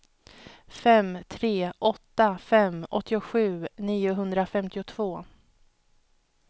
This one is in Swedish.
fem tre åtta fem åttiosju niohundrafemtiotvå